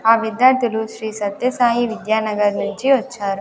ఆ విద్యార్థులు శ్రీ సత్య సాయి విద్యానగర్ నుంచి వచ్చారు.